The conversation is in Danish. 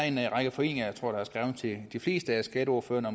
en række foreninger jeg tror der er skrevet til de fleste af skatteordførerne